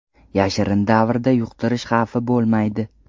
Yashirin davrda yuqtirish xavfi bo‘lmaydi.